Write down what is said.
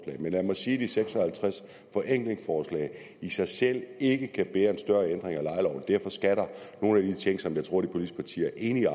men lad mig sige at de seks og halvtreds forenklingsforslag i sig selv ikke kan bære en større ændring af lejeloven derfor skal nogle af de ting som jeg tror de politiske partier er enige